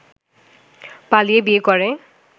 পালিয়ে বিয়ে করে